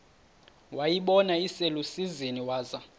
wayibona iselusizini waza